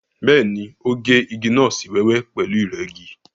Bẹ́ẹ̀ni, ó gé igi náà sí wẹ́wẹ́ pẹ̀lú ìrẹ́gi.